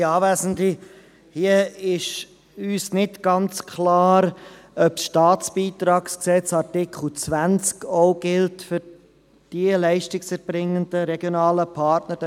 Uns ist hier nicht ganz klar, ob Artikel 20 des Staatsbeitragsgesetzes (StBG) auch für die Leistungserbringenden regionalen Partner gilt.